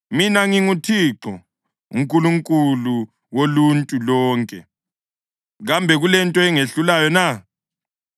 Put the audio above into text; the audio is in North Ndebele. “Mina nginguThixo, uNkulunkulu woluntu lonke. Kambe kulento engehlulayo na?